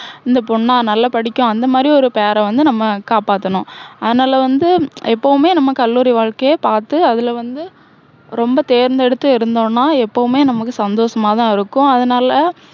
இந்த பொண்ணா, நல்லா படிக்கும். அந்த மாதிரி ஒரு பேரை வந்து நம்ம காப்பத்தணும். அதனால வந்து, எப்போவுமே நம்ம கல்லூரி வாழ்க்கைய பாத்து, அதுல வந்து, அஹ் ரொம்ப தேர்ந்தெடுத்து இருந்தோன்னா, எப்போவுமே நமக்கு சந்தோஷமா தான் இருக்கும். அதனால